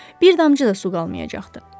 Bir damcı da su qalmayacaqdı.